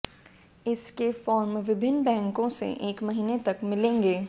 इसके फॉर्म विभिन्न बैंकों से एक महीने तक मिलेंगे